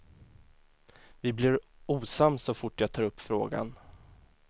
Vi blir osams så fort jag tar upp frågan.